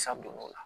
Sa don do o la